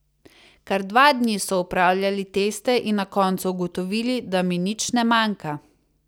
Kar dva dni so opravljali teste in na koncu ugotovili, da mi nič ne manjka.